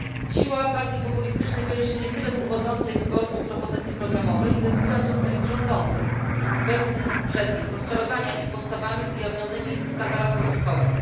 Siła partii populistycznych bierze się nie tyle z uwodzącej wyborców propozycji programowej, ile z błędów elit rządzących, obecnych i poprzednich, rozczarowania ich postawami ujawnionymi w skandalach podsłuchowych.